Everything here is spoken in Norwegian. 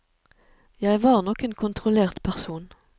Jeg var nok en kontrollert person.